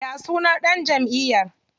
Ya sunan ɗan jamʼiyar?